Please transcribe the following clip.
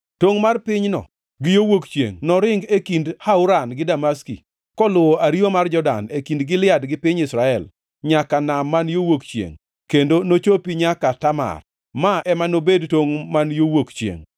Tongʼ mar pinyno gi yo wuok chiengʼ noring e kind Hauran gi Damaski, koluwo ariwa mar Jordan, e kind Gilead gi piny Israel, nyaka nam man yo wuok chiengʼ, kendo nochopi nyaka Tamar. Ma ema nobed tongʼ man yo wuok chiengʼ.